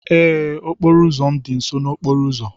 Ee, okporo ụzọ m dị nso n'okporo ụzọ.